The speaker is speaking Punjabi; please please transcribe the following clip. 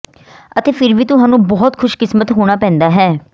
ਅਤੇ ਫਿਰ ਵੀ ਤੁਹਾਨੂੰ ਬਹੁਤ ਖੁਸ਼ਕਿਸਮਤ ਹੋਣਾ ਪੈਂਦਾ ਹੈ